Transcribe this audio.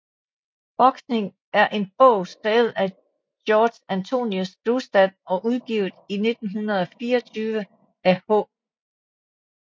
Boksning er en bog skrevet af Georg Antonius Brustad og udgivet i 1924 af H